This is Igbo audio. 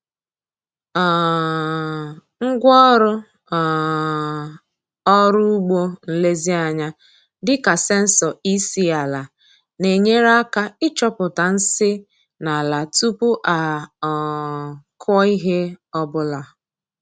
um Ngwaọrụ um ọrụ ugbo nlezianya dị ka sensọ EC ala na-enyere aka ịchọpụta nsị n’ala tupu a um kụọ ihe ọ bụla.